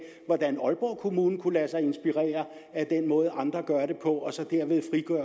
hvordan aalborg kommune kunne lade sig inspirere af den måde andre gør det på